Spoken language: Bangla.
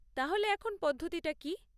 তাহলে এখন পদ্ধতিটা কী?